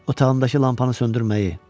Otağındakı lampanı söndürməyi.